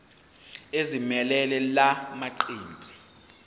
ezimelele la maqembu